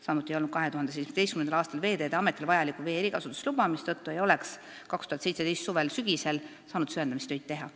Samuti ei olnud 2017. aastal Veeteede Ametil vajalikku vee erikasutusluba, mistõttu ei oleks 2017. aasta suvel-sügisel saanud süvendamistöid teha.